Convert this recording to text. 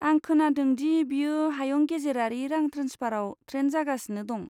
आं खोनादों दि बेयो हायुं गेजेरारि रां ट्रेन्सफाराव ट्रेन्ड जागासिनो दं?